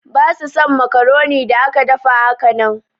Basu son macaroni da aka dafa hakanan.